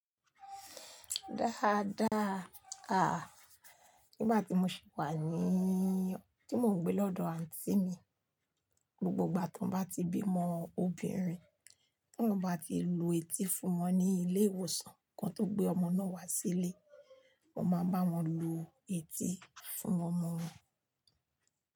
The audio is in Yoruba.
Dáadáa, à, nígbà tí mo ṣì wà ní, tí mò ń gbé lọ́dọ̀ àǹtí mi, gbogbo ìgbà tí wọ́n bá ti bímọ obìnrin, tí wọ́n bá ti lu etí fún wọn ní ilé ìwòsàn kán tó gbé ọmọ náà wá sílé, wọ́n máa bá wọn lu etí fún ọmọ wọn.